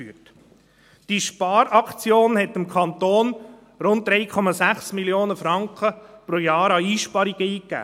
Diese Sparaktion brachte dem Kanton rund 3,6 Mio. Franken pro Jahr an Einsparungen ein.